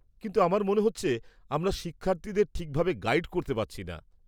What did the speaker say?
-কিন্তু আমার মনে হচ্ছে আমরা শিক্ষার্থীদের ঠিকভাবে গাইড করতে পারছি না।